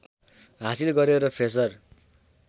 हासिल गर्‍यो र फ्रेसर